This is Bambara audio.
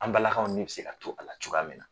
An balakaw ni be se ka to a la cogoya min na.